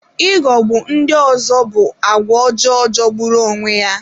ịghogbụ ndị ọzọ bụ àgwà ọjọọ Jọgburu onwe ya.